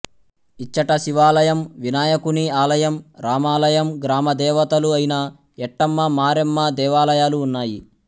ఇచ్చట శివాలయం వినాయకుని ఆలయం రామాలయం గ్రామదేవతలు ఐన ఎట్టమ్మ మారేమ్మ దేవాలయాలు ఉన్నాయి